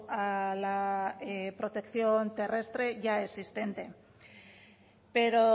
a la protección terrestre ya existente pero